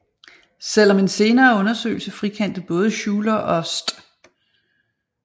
Selv om en senere undersøgelse frikendte både Schuyler og St